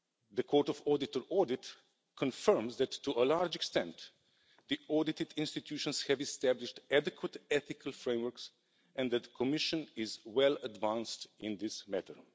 The Court of Auditors' audit confirmed that, to a large extent, the audited institutions have established adequate ethical frameworks and that the Commission is well advanced in this matter.